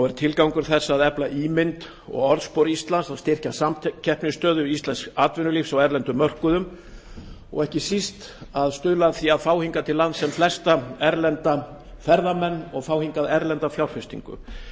er tilgangur þess að efla ímynd og orðspor íslands styrkja samkeppnisstöðu íslensks atvinnulífs á erlendum mörkuðum og ekki síst að stuðla að því að fá til landsins sem flesta erlenda ferðamenn og fá hingað erlenda fjárfestingu